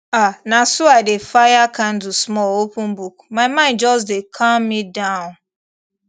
ah na so i dey fire candle small open book my mind just dey calm me down